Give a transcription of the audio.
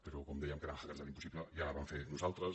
però com dèiem que érem hackers de l’impossible ja la vam fer nosal·tres